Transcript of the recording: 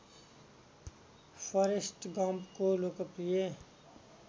forest गम्पको लोकप्रिय